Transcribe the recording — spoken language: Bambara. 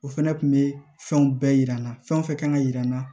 O fɛnɛ kun be fɛnw bɛɛ yira n na fɛn o fɛn kan ka yira n na